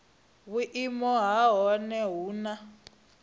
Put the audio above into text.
vhuimo ha nha hu na